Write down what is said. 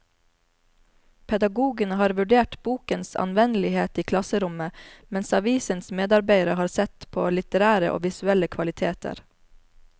Pedagogene har vurdert bokens anvendelighet i klasserommet, mens avisens medarbeidere har sett på litterære og visuelle kvaliteter.